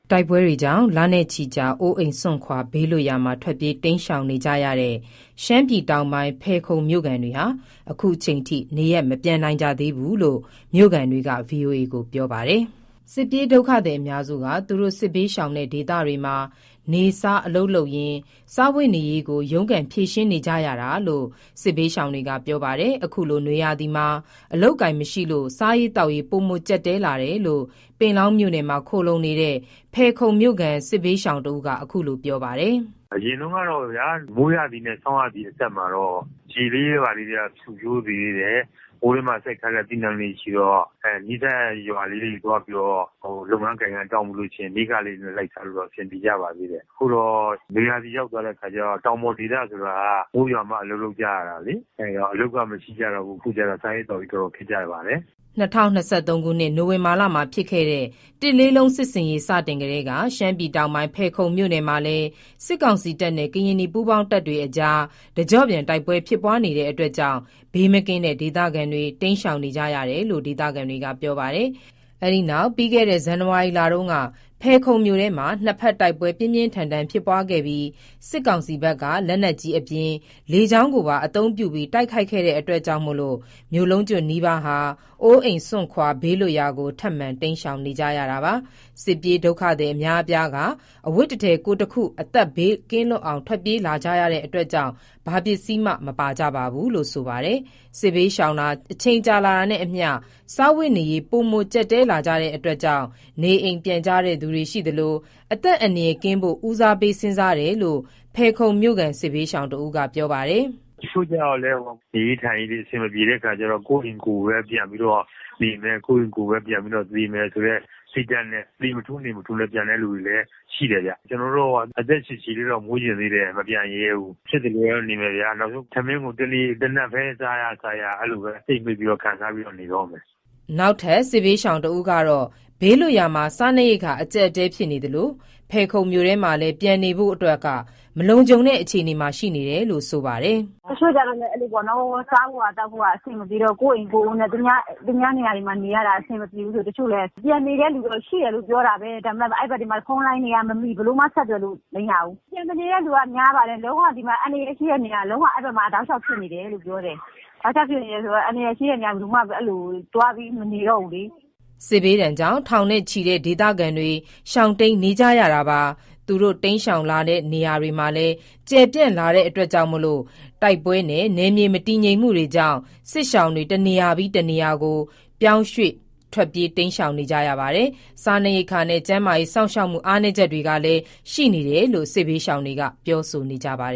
တိုက်ပွဲကြောင့် လနဲ့ချီကြာ အိုးအိမ်စွန့်ခွာ ဘေးလွတ်ရာမှာ ထွက်ပြေးတိမ်းရှောင်နေကြရတဲ့ ရှမ်းပြည်တောင်ပိုင်း ဖယ်ခုံမြို့ခံတွေဟာ ခုချိန်ထိ နေရပ်မပြန်နိုင်ကြသေးဘူးလို့ မြို့ခံတွေက ဗွီအိုအေကို ပြောပါတယ်။ စစ်ပြေးဒုက္ခသည်အများစုက သူတို့စစ်ဘေးရှောင်တဲ့ဒေသတွေမှာ နေ့စားအလုပ်လုပ်ရင်း စားဝတ်နေရေးကို ရုန်းကန်ဖြေရှင်းနေရကြတာလို့ စစ်ဘေးရှောင်တွေက ပြောပါတယ်။ အခုလို နွေရာသီမှာ အလုပ်အကိုင်မရှိလို့ စားရေးသောက်ရေး ပိုမိုကျပ်တည်းလာတယ်လို့ ပင်လောင်းမြို့နယ်မှာ ခိုလှုံနေတဲ့ ဖယ်ခုံမြို့ ခံစစ်ဘေးရှောင်တစ်ဦးက အခုလို ပြောပါတယ်။ “အရင်တုန်းကပေါ့ဗျာ…မိုးရာသီနဲ့ ဆောင်းရာသီအဆက်မှာတော့ ရေလေးတွေ ဘာလေးတွေ ဖွံ့ဖြိုးသေးတယ်။ ဟိုထဲမှာ စိုက်ထားတဲ့ အသီးအနှံလေးတွေရှိတော့ နီးစပ်ရာ ရွာလေးတွေ သွားပြီးတော့ လုပ်ရကိုင်ရ တောင်းပြီးတော့ နေ့စားလေး လိုက်စားလို့တော့ အဆင်ပြေကြပါသေးတယ်။ အခုတော့ နွေရာသီရောက်သွားတဲ့အခါကြတော့ တောင်ပေါ်ဒေသဆိုတာက မိုးရွာမှအလုပ်လုပ်ကြရတာလေ အဲ့တော့ အလုပ်ကမရှိကြတော့ဘူး။ အခုတော့ စားရေးသောက်ရေးတော်တော်ခက်ကြပါတယ်။” ၂၀၂၃ ခုနှစ် နိုဝင်ဘာလ တလလုံး စစ်ဆင်ရေး စတင်ကတည်းက ရှမ်းပြည်တောင်ပိုင်း ဖယ်ခုံမြို့နယ်မှာလည်း စစ်ကောင်စီတပ်နဲ့ ကရင်နီပူးပေါင်းတပ်တွေအကြား တကျော့ပြန် တိုက်ပွဲဖြစ်ပွားနေတာကြောင့် ဘေးမကင်းတဲ့ ဒေသခံတွေ တိမ်းရှောင်နေကြရတယ်လို့ ဒေသခံတွေက ပြောပါတယ်။ ပြီးခဲ့တဲ့ ဇန်နဝါရီလတုန်းက ဖယ်ခုံမြို့ထဲမှာ နှစ်ဖက် တိုက်ပွဲပြင်းပြင်းထန်ထန် ဖြစ်ပွားခဲ့ပြီး စစ်ကောင်စီဘက်က လက်နက်ကြီးအပြင် လေကြောင်းပါ အသုံးပြုပြီး ခုခံတိုက်ခိုက်ခဲ့တာကြောင့် မြို့လုံးကျွတ်နီးပါး အိုးအိမ်စွန့်ခွာ ဘေးလွတ်ရာကို ထပ်မံတိမ်းရှောင်နေကြရတာပါ။ စစ်ပြေးဒုက္ခသည်အများအပြားက အဝတ်တထည် ကိုယ်တခု အသက်ဘေးလွတ်ကင်းအောင် ထွက်ပြေးလာကြတာကြောင့်လည်း ဘာပစ္စည်းမှ မပါကြပါဘူးလို့ ဆိုပါတယ်။ စစ်ဘေးရှောင်လာတာ အချိန်ကြာတာနဲ့အမျှ စားဝတ်နေရေး ပိုမိုကျပ်တည်း လာကြတာမို့ နေအိမ်ပြန်ကြတဲ့သူတွေ ရှိသလို အသက် အန္တရယ်ကင်းဖို့ ဦးစားပေးစဥ်းစားတယ်လို့ ဖယ်ခုံမြို့ ခံ စစ်ဘေးရှောင်က ပြောပါတယ်။ “တချို့ကြတော့လည်း ဟိုဟာ…နေရေးထိုင်ရေးတွေ အဆင်မပြေတဲ့အခါကျတော့ ကိုယ့်အိမ်ကိုပဲ ပြန်ပြီးတော့ နေမယ်၊ ကိုယ့်အိမ်ကိုပဲ ပြန်ပြီးတော့ သေမယ်ဆိုတဲ့ စိတ်ဓာတ်နဲ့ သေမထူးနေမထူးလည်း ပြန်တဲ့လူလည်း ရှိတယ်ဗျ။ ကျနော်တို့ အသက်ရှည်ရှည်တော့ နေချင်သေးတယ်။ မပြန်ရဲဘူး။ ဖြစ်သလိုတော့ နေမယ်ဗျာ နောက်ဆုံး ထမင်းကို တနပ်ပဲ စားရ စားရ အဲ့လို့ပဲ ကြိတ်မှိတ်ပြီးတော့ ခံစားပြီးတော့ နေတော့မယ်။” နောက်ထပ် စစ်ဘေးရှောင်တဦးက ဘေးလွတ်ရာမှာ စားနပ်ရိက္ခာအကျပ်အတည်းဖြစ်နေသလို ဖယ်ခုံမြို့ထဲမှာလည်း ပြန်နေလို့ မလုံခြုံတဲ့အခြေအနေမှာ ရှိနေတယ်လို့ ဆိုပါတယ်။ “တချို့ကျတော့ အဲ့လိုပေါ့နော်၊ စားဖို့သောက်ဖို့ အဆင်မပြေတော့၊ ကိုယ့်အိမ်ကိုယ်နဲ့ သူများနေရာရတာအဆင်မပြေဘူးဆို တချို့လည်း ပြန်နေတဲ့လူတော့ ရှိတယ်လို့ ပြောတာပဲ ဒါပေမယ့် အဲ့ဘက်တွေမှာ ဖုန်းလိုင်းတွေက မမိ၊ ဘယ်လိုမှ ဆက်သွယ်လို့မရဘူး။ ပြန်မနေတဲ့လူက များပါတယ်။ လုံးဝ အန္တရာယ်ရှိတဲ့နေရာ လုံးဝအဲဒီဘက်မှာ တောက်လျှောက်ဖြစ်တယ်လို့ ပြောတယ်။ တောက်လျှောက်ဖြစ်နေတယ်ဆိုတော့ အန္တရာယ်ရှိတဲ့ နေရာ ဘယ်သူမှ အဲဒီလိုသွားပြီးမနေတော့ဘူးလေ။” စစ်ဘေးဒဏ်ကြောင့် ထောင်နဲ့ချီတဲ့ ဒေသခံတွေ ရှောင်တိမ်းနေကြရတာပါ။ သူတို့တိမ်းရှောင်လာတဲ့ နေရာတွေမှာလည်း ကျယ်ပြန့်လာတဲ့ တိုက်ပွဲနဲ့ နယ်မြေမတည်ငြိမ်မှုကြောင့် စစ်ရှောင်တွေ တနေရာပြီး တနေရာ ပြောင်းရွှေ့ပြေးရှောင်နေကြသလို စားနပ်ရိပ်က္ခာနဲ့ ကျန်းမာရေး စောင့်ရှောက်မှု အားနည်းချက်ရှိတယ်လို့ စစ်ဘေးရှောင်တွေက ပြောဆိုကြပါတ